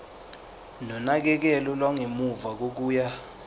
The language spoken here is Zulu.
nonakekelo lwangemuva kokuya